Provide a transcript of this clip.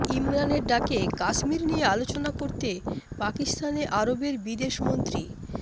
ইমরানের ডাকে কাশ্মীর নিয়ে আলোচনা করতে পাকিস্তানে আরবের বিদেশমন্ত্রী